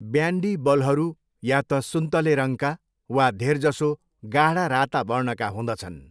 Bandy बलहरू या त सुन्तले रङका वा धेरजसो गाढा राता वर्णका हुँदछन्।